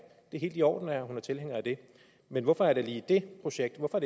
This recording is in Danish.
helt i orden at hun er tilhænger af det men hvorfor er det lige det projekt hvorfor